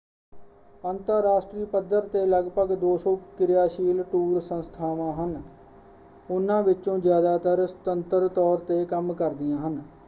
ਅੰਤਰਰਾਸ਼ਟਰੀ ਪੱਧਰ 'ਤੇ ਲਗਭਗ 200 ਕਿਰਿਆਸ਼ੀਲ ਟੂਰ ਸੰਸਥਾਵਾਂ ਹਨ। ਉਨ੍ਹਾਂ ਵਿੱਚੋਂ ਜ਼ਿਆਦਾਤਰ ਸੁਤੰਤਰ ਤੌਰ 'ਤੇ ਕੰਮ ਕਰਦੀਆਂ ਹਨ।